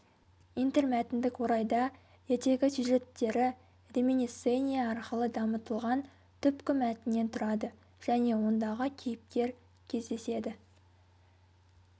интермәтіндік орайда ертегі сюжеттері реминисцения арқылы дамытылған түпкі мәтіннен тұрады және ондағы кейіпкер кездеседі